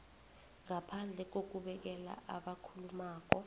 ngaphandle kokubekela abakhulumako